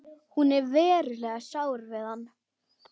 Hún er verulega sár við hann.